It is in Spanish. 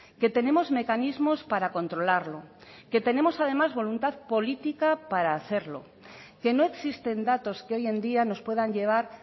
que tenemos mecanismos para controlarlo que tenemos además voluntad política para hacerlo que no existen datos que hoy en día nos puedan llevar